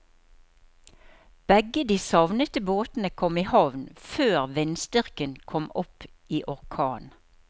Begge de savnede båtene kom i havn før vindstyrken kom opp i orkan.